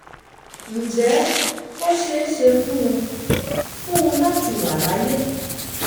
ǹjẹ́ ó ṣe é ṣe fún un fún un láti wà láyé